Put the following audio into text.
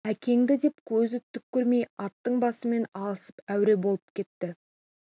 әкеңді деп көзі түк көрмей аттың басымен алысып әуре болып кетті